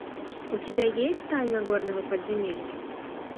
у тебя есть тайна горного подземелья